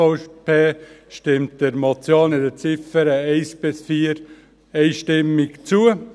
Die SVP stimmt der Motion in den Ziffern 1–4 einstimmig zu.